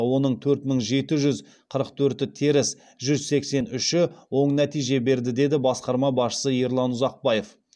оның төрт мың жеті жүз қырық төрті теріс жүз сексен үші оң нәтиже берді деді басқарма басшысы ерлан ұзақбаев